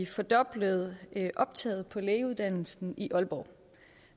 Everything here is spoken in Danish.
fordoblede optaget på lægeuddannelsen i aalborg